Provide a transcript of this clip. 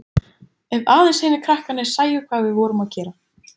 Ef aðeins hinir krakkarnir sæju hvað við vorum að gera.